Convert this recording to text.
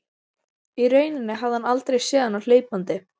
Í rauninni hafði hann aldrei séð hana hlaupandi.